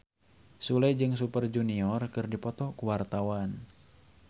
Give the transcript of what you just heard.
Sule jeung Super Junior keur dipoto ku wartawan